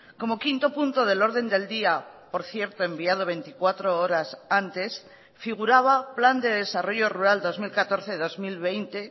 como quinto punto del orden del día por cierto enviado veinticuatro horas antes figuraba plan de desarrollo rural dos mil catorce dos mil veinte